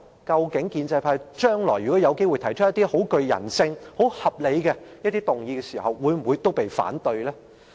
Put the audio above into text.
建制派提出的一些極具人性和十分合理的議案會否同樣被我們反對呢？